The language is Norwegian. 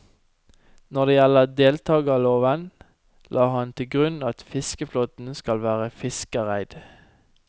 Når det gjelder deltagerloven, la han til grunn at fiskeflåten skal være fiskereid.